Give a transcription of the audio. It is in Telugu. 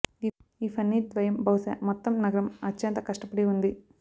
ఈ ఫన్నీ ద్వయం బహుశా మొత్తం నగరం అత్యంత కష్టపడి ఉంది